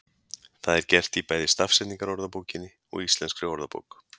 Það er gert í bæði Stafsetningarorðabókinni og Íslenskri orðabók.